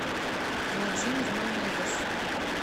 владимир мамедов